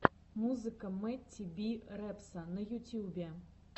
музыка мэтти би репса на ютьюбе